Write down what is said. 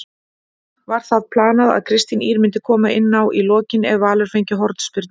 Var það planað að Kristín Ýr myndi koma inná í lokin ef Valur fengi hornspyrnu?